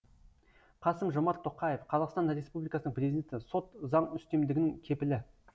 қасым жомарт тоқаев қазақстан республикасының президенті сот заң үстемдігінің кепілі